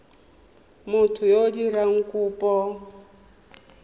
motho yo o dirang kopo